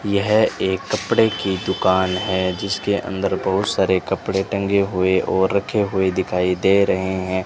यह एक कपड़े की दुकान है जिसके अंदर बहोत सारे कपड़े टंगे हुए और रखे हुए दिखाई दे रहे हैं।